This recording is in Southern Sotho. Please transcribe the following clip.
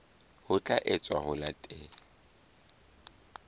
ho tla etswa ho latela